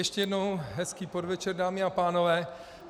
Ještě jednou hezký podvečer, dámy a pánové.